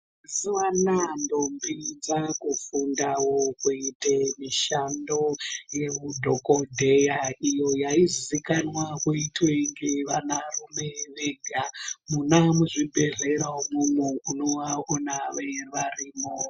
Mazuwa anaya ndombi dzakufundawo kuite mishando yeudhokodheya iyo yaizikanwa kuitwe ngevanarume vega munamuzvibhedhlera umwomwo unovaona varimwo.